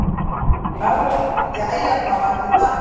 Jæja þá, ætli það ekki.